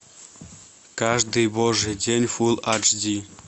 каждый божий день фул аш ди